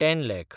ten lakh